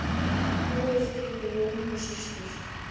Guð geymi Jónínu systur.